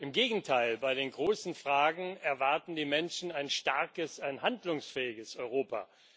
Im Gegenteil Bei den großen Fragen erwarten die Menschen ein starkes, ein handlungsfähiges Europa.